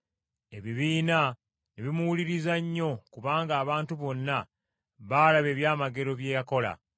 Ebibiina ne bimuwuliriza nnyo kubanga abantu bonna baalaba ebyamagero bye yakola.